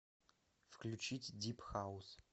включить дип хаус